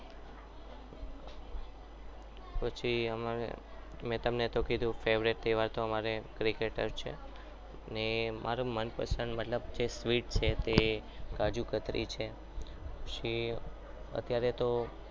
પછી અમે અમને તમને કીધું કે અમારી favourite તહેવાર અમારો cricket જ છે મારી મનપસંદ sweet છે તે કાજુકતરી છે